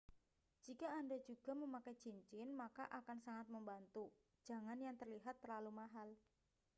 jika anda juga memakai cincin maka akan sangat membantu jangan yang terlihat terlalu mahal